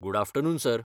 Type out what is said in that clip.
good afternoon, sir